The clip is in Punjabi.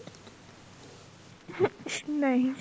ਨਹੀਂ